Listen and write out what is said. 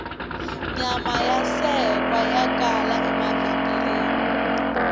nyama ya sekwa ya kala emavhengeleni